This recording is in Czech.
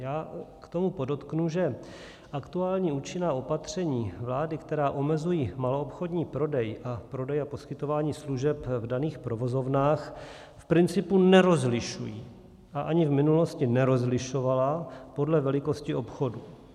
Já k tomu podotknu, že aktuální účinná opatření vlády, která omezují maloobchodní prodej a prodej a poskytování služeb v daných provozovnách, v principu nerozlišují a ani v minulosti nerozlišovala podle velikosti obchodu.